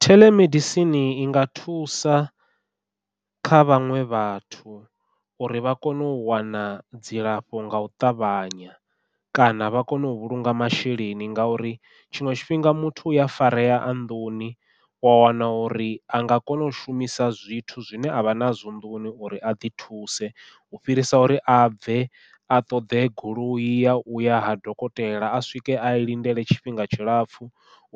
Theḽemedisini i nga thusa kha vhaṅwe vhathu, uri vha kone u wana dzilafho ngau ṱavhanya kana vha kone u vhulunga masheleni ngauri tshiṅwe tshifhinga muthu uya farea a nnḓuni wa wana uri anga kona u shumisa zwithu zwine avha nazwo nḓuni uri a ḓi thuse u fhirisa uri a bve a ṱoḓe goloi ya uya ha dokotela a swike a i lindele tshifhinga tshilapfhu